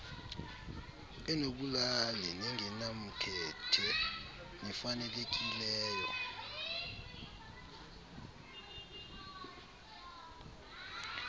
enobulali nengenamkhethe nefanelekileyo